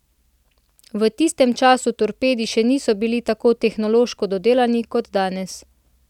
V tistem času torpedi še niso bili tako tehnološko dodelani kot so danes.